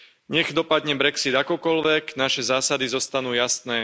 Nech dopadne brexit akokoľvek, naše zásady zostanú jasné.